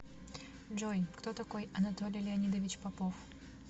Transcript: джой кто такой анатолий леонидович попов